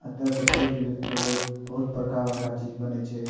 एते से पढ़ लिख के लोग बहुत बड़का बड़का चीज बनय छै।